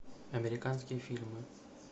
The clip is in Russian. американские фильмы